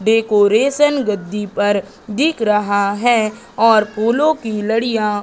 decoration गद्दी पर दिख रहा है और फूलों की लड़ियाँ --